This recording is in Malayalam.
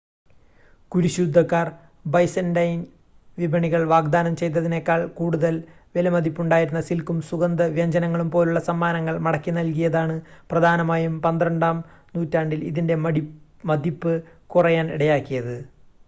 കുരിശുയുദ്ധക്കാർ ബൈസൻ്റൈൻ വിപണികൾ വാഗ്ദാനം ചെയ്തതിനേക്കാൾ കൂടുതൽ വിലമതിപ്പുണ്ടായിരുന്ന സിൽക്കും സുഗന്ധവ്യഞ്ജനങ്ങളും പോലുള്ള സമ്മാനങ്ങൾ മടക്കിനൽകിയതാണ് പ്രധാനമായും പന്ത്രണ്ടാം നൂറ്റാണ്ടിൽ ഇതിൻ്റെ മതിപ്പ് കുറയാൻ ഇടയാക്കിയത്